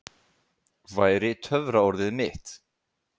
væri töfraorðið mitt.